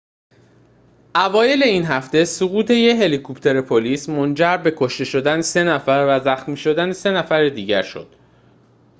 اوایل این هفته سقوط یک هلیکوپتر پلیس منجر به کشته شدن سه نفر و زخمی شدن سه نفر دیگر شد